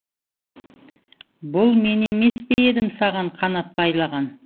бұл мен емес пе едім саған қанат байлаған